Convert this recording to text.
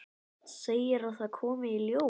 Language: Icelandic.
Segir að það komi í ljós.